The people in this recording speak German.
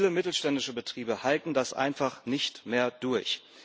Viele mittelständische Betriebe halten das einfach nicht mehr durch.